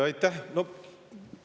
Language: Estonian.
Aitäh!